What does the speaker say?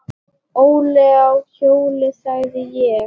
Óli á hjól, sagði ég.